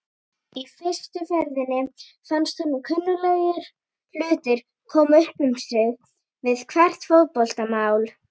Í fyrstu ferðinni fannst honum kunnuglegir hlutir koma upp um sig við hvert fótmál.